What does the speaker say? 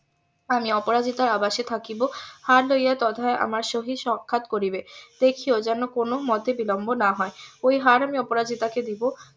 আমি অপরাজিতার আবাসে থাকিব হার লইয়া তথায় আমার সহিত সাক্ষাৎ করিবে দেখিয়ো যাতে কোনো মোতে বিলম্ব না হয় ওই হার আমি অপরাজিতা কে দেব